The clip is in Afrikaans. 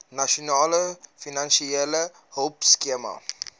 nasionale finansiële hulpskema